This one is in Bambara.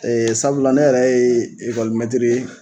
sabula ne yɛrɛ ye mɛtiri ye